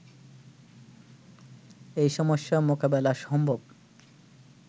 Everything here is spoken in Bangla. এ সমস্যা মোকাবেলা সম্ভব